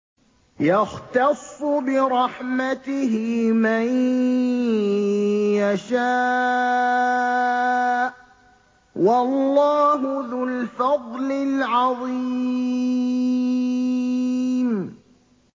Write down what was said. يَخْتَصُّ بِرَحْمَتِهِ مَن يَشَاءُ ۗ وَاللَّهُ ذُو الْفَضْلِ الْعَظِيمِ